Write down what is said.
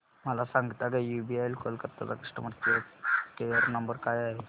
मला सांगता का यूबीआय कोलकता चा कस्टमर केयर नंबर काय आहे